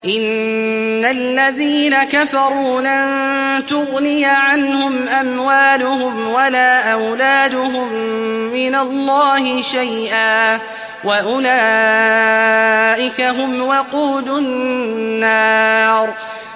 إِنَّ الَّذِينَ كَفَرُوا لَن تُغْنِيَ عَنْهُمْ أَمْوَالُهُمْ وَلَا أَوْلَادُهُم مِّنَ اللَّهِ شَيْئًا ۖ وَأُولَٰئِكَ هُمْ وَقُودُ النَّارِ